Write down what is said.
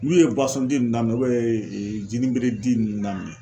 N'u ye di nunnun daminɛ jinibere di nunnu daminɛ